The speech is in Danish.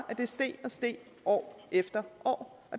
steg og steg år efter år